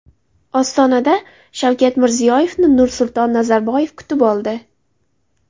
Ostonada Shavkat Mirziyoyevni Nursulton Nazarboyev kutib oldi.